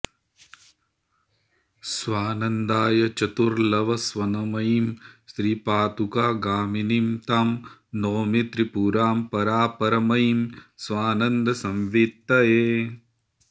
स्वानन्दाय चतुर्लवस्वनमयीं श्रीपादुकागामिनीं तां नौमि त्रिपुरां परापरमयीं स्वानन्दसंवित्तये